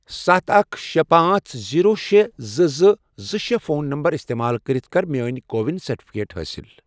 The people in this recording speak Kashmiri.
ستھَ، اکھ، شے، پانژھ، زیٖرو، شے، زٕ، زٕ، زٕ، شے، فون نمبر استعمال کٔرِتھ کر میٲنۍ کو وِن سرٹِفکیٹ حٲصِل